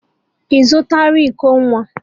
Ị zụtara iko nwa?